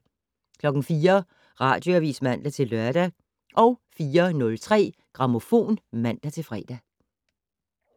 04:00: Radioavis (man-lør) 04:03: Grammofon (man-fre)